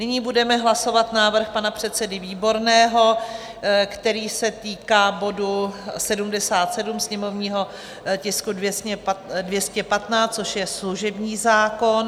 Nyní budeme hlasovat návrh pana předsedy Výborného, který se týká bodu 77, sněmovního tisku 215, což je služební zákon.